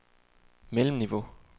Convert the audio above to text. mellemniveau